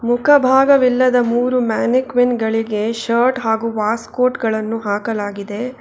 ಮುಖಭಾಗವಿಲ್ಲದ ಮೂರು ಮ್ಯಾನಿಕ್ವಿನ್ ಗಳಿಗೆ ಶರ್ಟ್ ಹಾಗು ವಾಸ್ ಕೋಟ್ ಗಳನ್ನು ಹಾಕಲಾಗಿದೆ.